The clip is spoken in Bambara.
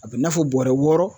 A be n'a fɔ bɔrɛ wɔɔrɔ